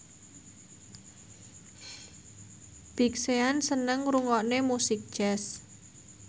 Big Sean seneng ngrungokne musik jazz